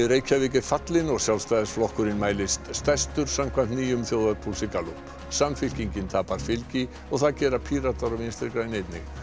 Reykjavík er fallinn og Sjálfstæðisflokkurinn mælist stærstur samkvæmt nýjum þjóðarpúlsi Gallup samfylkingin tapar fylgi og það gera Píratar og Vinstri græn einnig